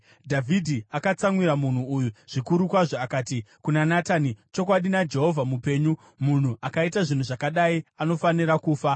Dhavhidhi akatsamwira munhu uyu zvikuru kwazvo akati kuna Natani, “Chokwadi naJehovha mupenyu, munhu akaita zvinhu zvakadai anofanira kufa!